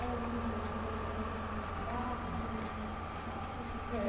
Ah, sim, mas eu digo, quando você começou a trabalhar, você continuou morando com seus pais?